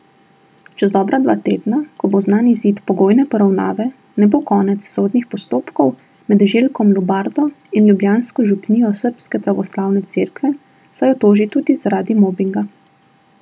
Čez dobra dva tedna, ko bo znan izid pogojne poravnave, ne bo konec sodnih postopkov med Željkom Lubardo in ljubljansko župnijo Srbske pravoslavne cerkve, saj jo toži tudi zaradi mobinga.